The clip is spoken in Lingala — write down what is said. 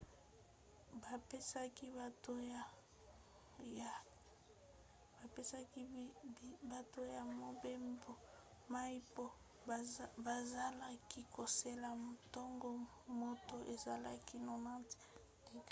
bapesaki bato ya mobembo mai mpo bazalaki kozela ntango moto ezalaki 90f-degre